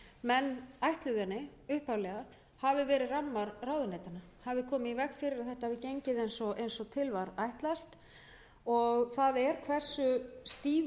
menn ætluðu henni upphaflega hafi verið rammar ráðuneytanna hafi komið í veg fyrir að þetta hafi gengið eins og til var ætlast og það er hversu þýðir þeir